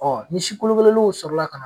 Ɔ ni si kolokololenw sɔrɔla ka na